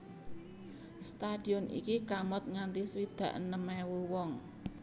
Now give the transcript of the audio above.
Stadion iki kamot nganti swidak enem ewu wong